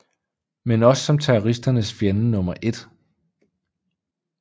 Men også som terroristernes fjende nr 1